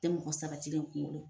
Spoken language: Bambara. Tɛ mɔgɔ sabatilen kungolo